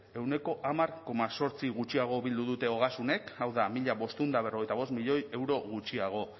ehuneko hamar koma zortzi gutxiago bildu dute ogasunek hau da mila bostehun eta berrogeita bost milioi euro gutxiago